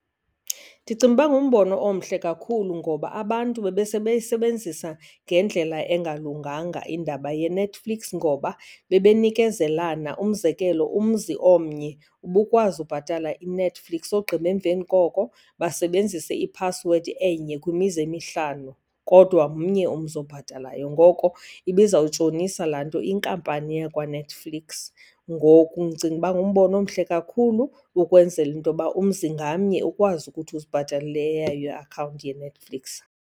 Ndicinga ukuba ngumbono omhle kakhulu. Ngoba abantu bebesebeyisebenzisa ngendlela engalunganga indaba yeNetflix, ngoba bebenikezelana. Umzekelo, umzi omnye ubukwazi ubhatala iNetflix ogqiba emveni koko basebenzise iphasiwedi enye kwimizi emihlanu kodwa mnye umzi obhatalayo. Ngoko ibizawutshonisa laa nto inkampani yakwaNetflix. Ngoku ndicinga uba ngumbono omhle kakhulu ukwenzela into yoba umzi ngamnye ukwazi ukuthi uzibhatalele eyayo iakhawunti yeNetflix.